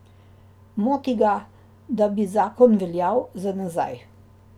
Moti ga, da bi zakon veljal za nazaj.